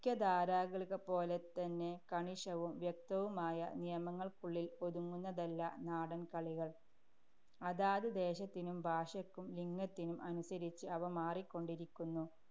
ഖ്യധാരാകളികളെപ്പോലെ തന്നെ കണിശവും വ്യക്തവുമായ നിയമങ്ങള്‍ക്കുള്ളില്‍ ഒതുങ്ങുന്നതല്ല നാടന്‍ കളികള്‍. അതാത് ദേശത്തിനും ഭാഷയ്ക്കും ലിംഗത്തിനും അനുസരിച്ച് അവ മാറിക്കൊണ്ടിരിക്കുന്നു.